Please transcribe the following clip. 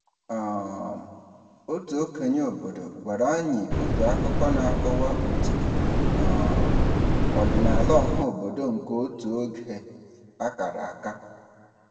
um Otu okenye obodo gwara anyị otu akụkọ na-akọwa otu um ọdịnala ọhaobodo nke otu oge a kara aka.